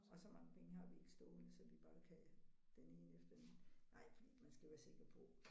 Og så mange penge har vi ikke stående så vi bare kan den ene efter den nej man skal være sikker på